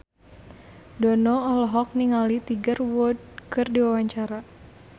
Dono olohok ningali Tiger Wood keur diwawancara